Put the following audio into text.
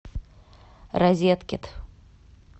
розеткед